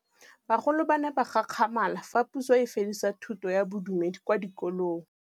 Bagolo ba ne ba gakgamala fa Pusô e fedisa thutô ya Bodumedi kwa dikolong.